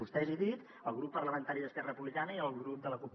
vostès he dit el grup parlamentari d’esquerra republicana i el grup de la cup